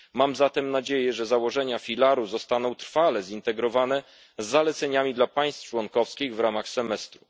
Mam zatem nadzieję, że założenia filaru zostaną trwale połączone z zaleceniami dla państw członkowskich w ramach semestru.